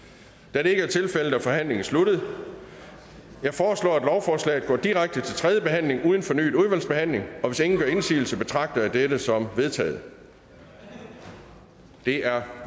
da det ikke er tilfældet er forhandlingen sluttet jeg foreslår at lovforslaget går direkte til tredje behandling uden fornyet udvalgsbehandling hvis ingen gør indsigelse betragter jeg dette som vedtaget det er